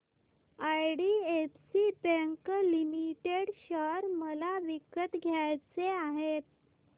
IDFC bank limited share मला विकत घ्यायचे आहेत